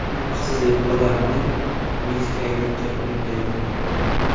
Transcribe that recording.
Uyqusizlik odamlarni mechkaylikka undaydi.